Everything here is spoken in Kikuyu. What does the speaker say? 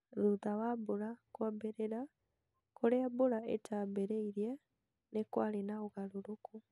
Thutha wa mbura kwambi͂ri͂ra, ku͂ri͂a mbura itaambi͂ri͂irie ni kwari͂ na u͂garu͂ru͂ku.